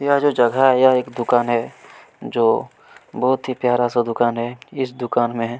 यह जो जगह है यह एक दुकान है जो बहुत ही प्यारा-सा दुकान है इस दुकान में--